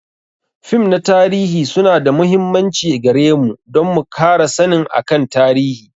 Fim na tarihi su na da muhimmanci gare mu don mu kara sannin akan tarihi.